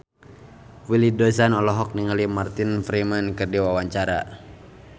Willy Dozan olohok ningali Martin Freeman keur diwawancara